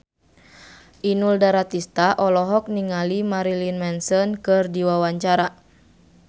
Inul Daratista olohok ningali Marilyn Manson keur diwawancara